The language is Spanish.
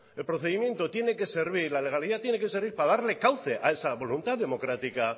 el procedimiento tiene que servir la legalidad tiene que servir para darle cauce a esa voluntad democrática